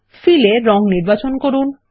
feel এ রঙ নির্বাচন করুন